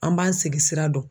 An b'an sigi sira dɔn.